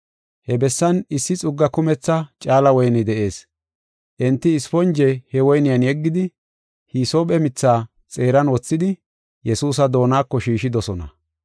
He bessan issi xugga kumetha caala woyney de7ees. Enti isponje he woyniyan yeggidi, hisoophe mitha xeeran wothidi, Yesuusa doonako shiishidosona.